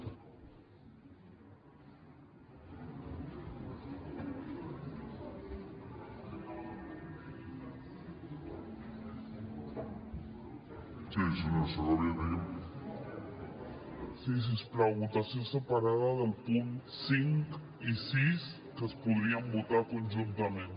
sí si us plau votació separada dels punts cinc i sis que es podrien votar conjuntament